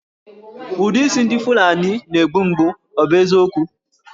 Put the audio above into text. Ụdị isi ndị Fulani na-egbu mgbu, ọ bụ eziokwu?